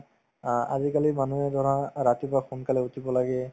অ, আজিকালিৰ মানুহে ধৰা ৰাতিপুৱা সোনকালে উঠিব লাগে